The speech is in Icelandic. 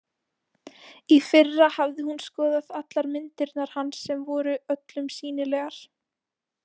Í fyrra hafði hún skoðað allar myndirnar hans sem voru öllum sýnilegar.